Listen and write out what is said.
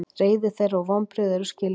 Reiði þeirra og vonbrigði eru skiljanleg